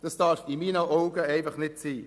Das darf in meinen Augen einfach nicht sein.